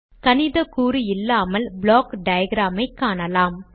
கணித கூறு இல்லாமல் ப்ளாக் டயாகிராம் ஐக் காணலாம்